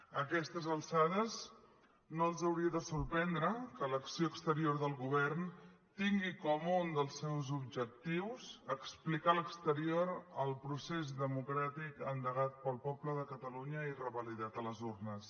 a aquestes alçades no els hauria de sorprendre que l’acció exterior del govern tingui com un dels seus objectius explicar a l’exterior el procés democràtic endegat pel poble de catalunya i revalidat a les urnes